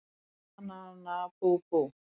Nana nana bú bú!